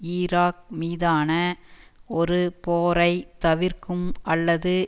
Iraq மீதான ஒரு போரை தவிர்க்கும் அல்லது